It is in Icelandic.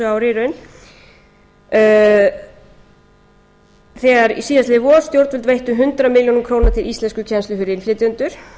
ári í raun þegar síðastliðið vor stjórnvöld veittu hundrað milljónir króna til íslenskukennslu fyrir innflytjendur